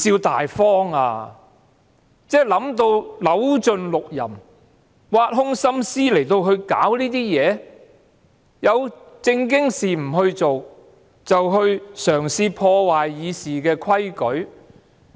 他可謂扭盡六壬，挖空心思來搞這些事情，有正經事情不做，卻嘗試破壞《議事規則》。